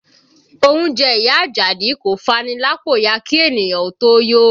Oúnjẹ ìyá Ajadi kò fani lápò ya kí ènìyàn ó tó yó